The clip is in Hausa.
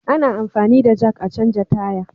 Ana anfani da jak a canja tire